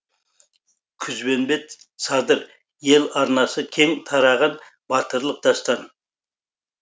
күзбенбет садыр ел арнасы кең тараған батырлық дастан